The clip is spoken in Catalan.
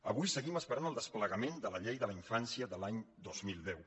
avui seguim esperant el desplegament de la llei de la infància de l’any dos mil deu